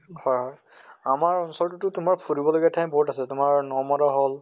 আমাৰ ওচৰততো ফুৰিব লগিয়া ঠাই বহুত আছে তোমাৰ নমদা হʼল